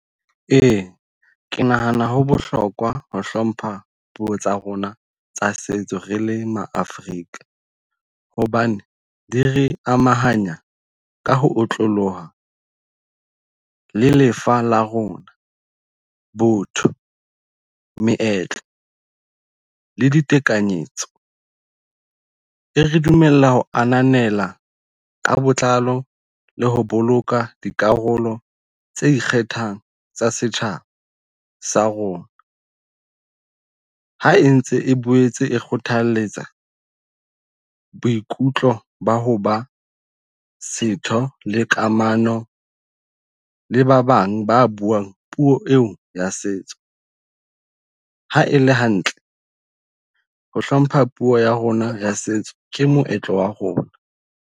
Ee, ke nahana ho bohlokwa ho hlompha puo tsa rona tsa setso re le Maafrika. Hobane di re amahanya ka ho otloloha le lefa la rona botho, meetlo le ditekanyetso. E re dumella ho ananela ka botlalo le ho boloka dikarolo tse ikgethang tsa setjhaba sa rona. Ha e ntse e boetse e kgothalletsa boikutlo ba hoba setho le kamano le ba bang ba buang puo eo ya setso. Ha ele hantle ho hlompha puo ya rona ya setso, ke moetlo wa rona.